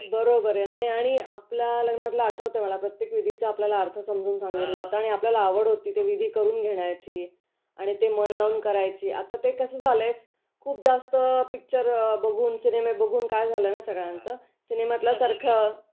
बरोबर आहे, नाही आणि आपल्या लग्नातलं आठवतंय मला. प्रत्येक विधीचा अर्थ समजावून सांगितला होता आणि आपल्याला आवड होती ते विधी करून घेण्याची, ते मन लावून करायची. आता ते कसं झालंय, खूप जास्त पिक्चर बघून, सिनेमे बघून काय झालंय ना सगळ्यांचं सिनेमातल्यासारखं.